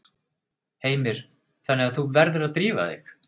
Heimir: Þannig að þú verður að drífa þig?